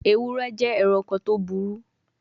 Ewure je eranko to buru